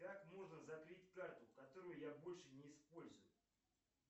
как можно закрыть карту которую я больше не использую